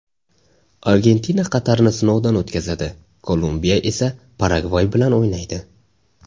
Argentina Qatarni sinovdan o‘tkazadi, Kolumbiya esa Paragvay bilan o‘ynaydi.